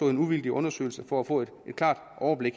en uvildig undersøgelse for at få et klart overblik